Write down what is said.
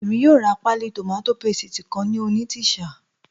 Èmi yóò ra páálí tòmátò pésìtì kan ní Onitsha